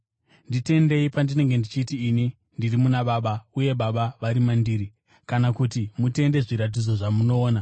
Nditendei pandinenge ndichiti, ini ndiri muna Baba uye Baba vari mandiri; kana kuti mutende zviratidzo zvamunoona.